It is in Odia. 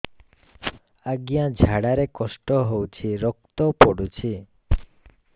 ଅଜ୍ଞା ଝାଡା ରେ କଷ୍ଟ ହଉଚି ରକ୍ତ ପଡୁଛି